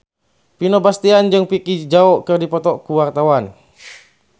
Vino Bastian jeung Vicki Zao keur dipoto ku wartawan